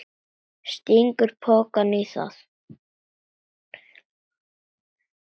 Stingur pokanum í það.